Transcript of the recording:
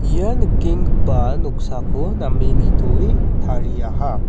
ia nikenggipa noksako name nitoe tariaha.